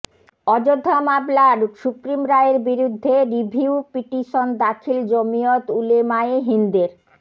অযোধ্যা মামলার সুপ্রিম রায়ের বিরুদ্ধে রিভিউ পিটিশন দাখিল জমিয়ত উলেমায়ে হিন্দের